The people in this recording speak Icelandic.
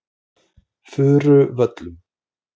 Furuvöllum